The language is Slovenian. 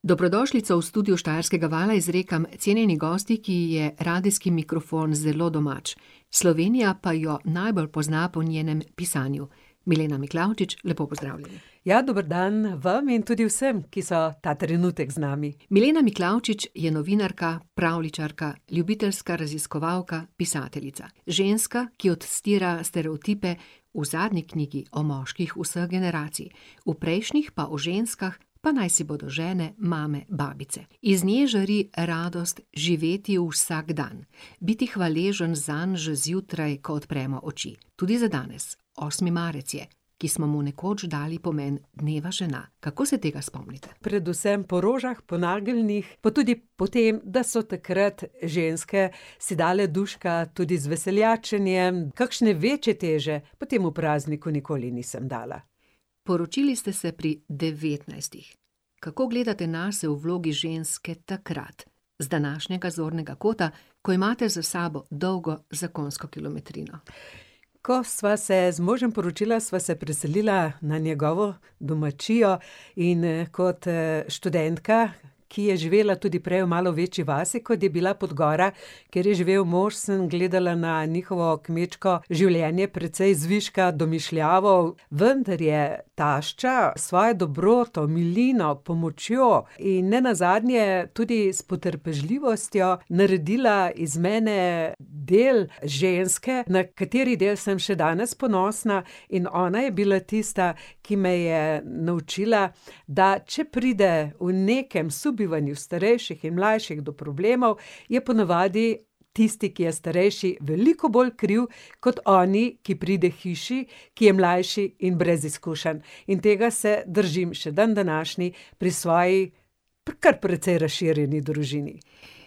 Dobrodošlico v studiu Štajerskega vala izrekam cenjeni gostji, ki ji je radijski mikrofon zelo domač. Slovenija pa jo najbolj pozna po njenem pisanju. Milena Miklavčič, lepo pozdravljeni. Ja, dober dan, vam in tudi vsem, ki so ta trenutek z nami. Milena Miklavčič je novinarka, pravljičarka, ljubiteljska raziskovalka, pisateljica. Ženska, ki odstira stereotipe v zadnji knjigi o moških vseh generacij. V prejšnjih pa o ženskah, pa naj si bodo žene, mame, babice. Iz nje žari radost živeti vsak dan. Biti hvaležen zanj že zjutraj, ko odpremo oči. Tudi za danes. Osmi marec je, ki smo mu nekoč dali pomen dneva žena. Kako se tega spomnite? Predvsem po rožah, po nageljnih, pa tudi po tem, da so takrat ženske si dale duška tudi z veseljačenjem, kakšne večje teže pa temu prazniku nikoli nisem dala. Poročili ste se pri devetnajstih. Kako gledate nase v vlogi ženske takrat, z današnjega zornega kota, ko imate za sabo dolgo zakonsko kilometrino? Ko sva se z možem poročila, sva se preselila na njegovo domačijo. In, kot, študentka, ki je živela tudi prej v malo večji vasi, kot je bila Podgora, kjer je živel mož, sem gledala na njihovo kmečko življenje precej zviška, domišljavo. Vendar je tašča s svojo dobroto, milino, pomočjo in nenazadnje tudi s potrpežljivostjo naredila iz mene del ženske, na kateri del sem še danes ponosna. In ona je bila tista, ki me je naučila, da če pride v nekem sobivanju starejših in mlajših do problemov, je ponavadi tisti, ki je starejši, veliko bolj kriv kot oni, ki pride k hiši, ki je mlajši in brez izkušenj. In tega se držim še dandanašnji pri svoji kar precej razširjeni družini.